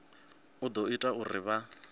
u ḓo ita uri vha